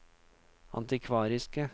antikvariske